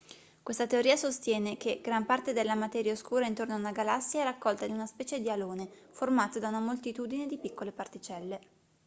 questa teoria sostiene che gran parte della materia oscura intorno a una galassia è raccolta in una specie di alone formato da una moltitudine di piccole particelle